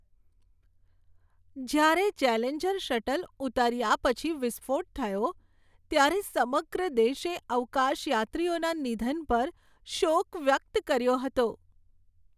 જ્યારે Challenger shuttle ઉતાર્યા પછી વિસ્ફોટ થયો ત્યારે સમગ્ર દેશે અવકાશયાત્રીઓના નિધન પર શોક વ્યક્ત કર્યો હતો.